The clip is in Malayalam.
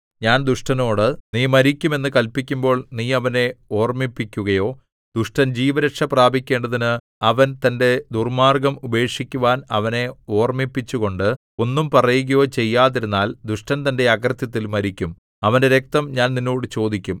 ഞാൻ ദുഷ്ടനോട് നീ മരിക്കും എന്ന് കല്പിക്കുമ്പോൾ നീ അവനെ ഓർമ്മിപ്പിക്കുകയോ ദുഷ്ടൻ ജീവരക്ഷ പ്രാപിക്കേണ്ടതിന് അവൻ തന്റെ ദുർമ്മാർഗ്ഗം ഉപേക്ഷിക്കുവാൻ അവനെ ഓർമ്മിപ്പിച്ചുകൊണ്ട് ഒന്നും പറയുകയോ ചെയ്യാതിരുന്നാൽ ദുഷ്ടൻ തന്റെ അകൃത്യത്തിൽ മരിക്കും അവന്റെ രക്തം ഞാൻ നിന്നോട് ചോദിക്കും